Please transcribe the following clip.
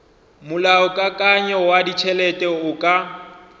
molaokakanywa wa ditšhelete o ka